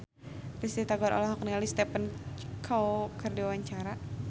Risty Tagor olohok ningali Stephen Chow keur diwawancara